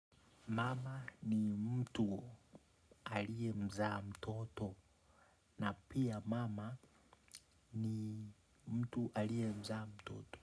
Mama ni mtu alie mzaa mtoto. Na pia mama ni mtu alie mzaa mtoto.